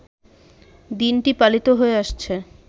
দিনটি পালিত হয়ে আসছে